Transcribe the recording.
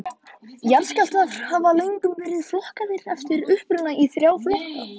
Jarðskjálftar hafa löngum verið flokkaðir eftir uppruna í þrjá flokka.